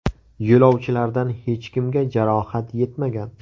Yo‘lovchilardan hech kimga jarohat yetmagan.